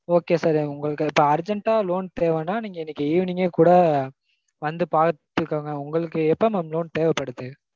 okay sir. உங்களுக்கு இப்போ urgent ஆ loan தேவைனா நீங்க இன்னைக்கு evening கே கூட வந்து பாத்துக்கோங்க. உங்களுக்கு எப்போ mam loan தேவைப்படுது?